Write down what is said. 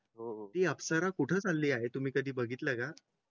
होती. अप्सरा कुठे चालली आहे तुम्ही कधी बघितलं का